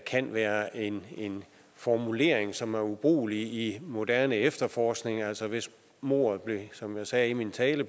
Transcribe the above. kan være en formulering som er ubrugelig i moderne efterforskning altså hvis mordet som jeg sagde i min tale